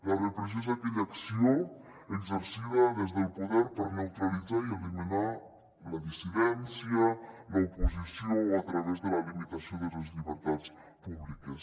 la repressió és aquella acció exercida des del poder per neutralitzar i eliminar la dissidència l’oposició a través de la limitació de les llibertats públiques